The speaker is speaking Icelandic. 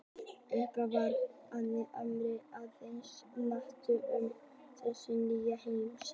Upphaflega var hugtakið Ameríka aðeins notað um suðurhluta nýja heimsins.